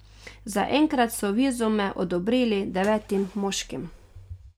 Zaenkrat so vizume odobrili devetim moškim.